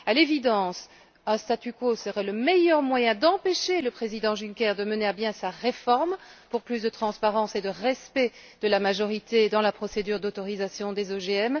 À l'évidence, un statu quo serait le meilleur moyen d'empêcher le président Juncker de mener à bien sa réforme pour plus de transparence et de respect de la majorité dans la procédure d'autorisation des OGM.